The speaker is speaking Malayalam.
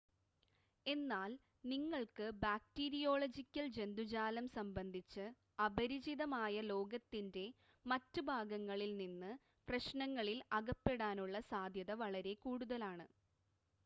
എന്നാൽ നിങ്ങൾക്ക് ബാക്ടീരിയോളജിക്കൽ ജന്തുജാലം സംബന്ധിച്ച് അപരിചിതമായ ലോകത്തിൻ്റെ മറ്റ് ഭാഗങ്ങളിൽ നിങ്ങൾ പ്രശ്‌നങ്ങളിൽ അകപ്പെടാനുള്ള സാധ്യത വളരെ കൂടുതലാണ്